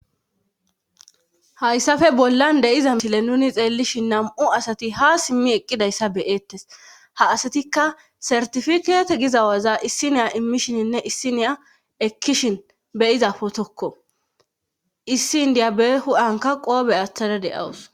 Hayssafe bollan deyiza misile nuni xeellishin nam'u asati ha simmi eqqidayssa beyeettes ha asatikka sertifikeete gizawaza issiniya immishininne issiniya ekkishin beyiza potokko issi indiya bee hu'anka qoobe aththada deawus.